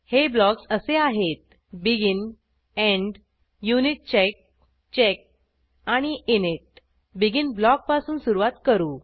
हे ब्लॉक्स असे आहेत बेगिन एंड युनिटचेक चेक आणि इनिट बेगिन ब्लॉकपासून सुरूवात करू